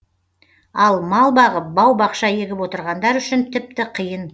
ал мал бағып бау бақша егіп отырғандар үшін тіпті қиын